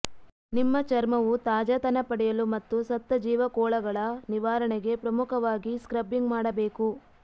ನಿಮ್ಮ ಚರ್ಮವು ತಾಜಾತನ ಪಡೆಯಲು ಮತ್ತು ಸತ್ತ ಜೀವಕೋಳಗಳ ನಿವಾರಣೆಗೆ ಪ್ರಮುಖವಾಗಿ ಸ್ಕ್ರಬ್ಬಿಂಗ್ ಮಾಡಬೇಕು